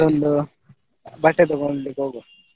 ಅದೊಂದು ಬಟ್ಟೆ ತಗೋಳ್ಳಿಕ್ಕೆ ಹೋಗುವ.